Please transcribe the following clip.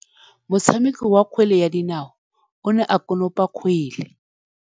Motshameki wa kgwele ya dinaô o ne a konopa kgwele.